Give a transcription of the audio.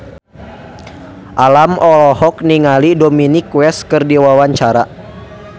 Alam olohok ningali Dominic West keur diwawancara